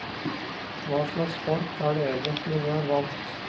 Hva slags folk er det egentlig vi har valgt.